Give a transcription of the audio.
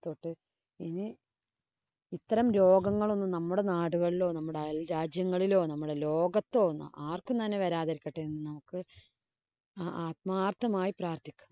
ഇന ഇത്തരം രോഗങ്ങളൊന്നും നമ്മുടെ നാടുകളിലോ, നമ്മുടെ അയല്‍രാജ്യങ്ങളിലോ, നമ്മുടെ ലോകത്തോ ആര്‍ക്കും തന്നെ വരാതിരിക്കട്ടെ എന്ന് നമുക്ക് ആത്മാര്‍ഥമായി പ്രാര്‍ത്ഥിക്കാം.